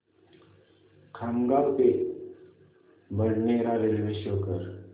खामगाव ते Badnera railway show कर